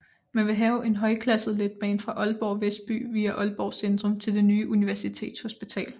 Man ville have en højklasset letbane fra Aalborg Vestby via Aalborg Centrum til det nye Universitetshospital